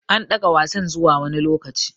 An ɗaga Wasan zuwa wani lokaci.